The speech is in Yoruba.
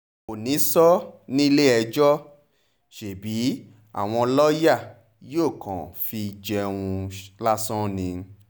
kò níṣó nílé-ẹjọ́ ṣebí àwọn lọ́ọ́yà yóò kàn fi í jẹun lásán ni